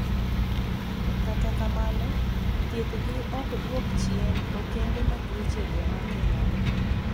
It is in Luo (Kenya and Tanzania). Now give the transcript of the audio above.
kata kamano, thieth gi ok duok chien okenge ma tuoche go make ng'ato